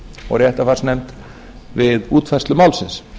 og réttarfarsnefnd við útfærslu málsins